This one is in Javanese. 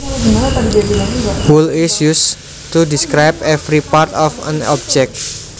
Whole is used to describe every part of an object